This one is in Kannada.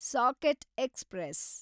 socket express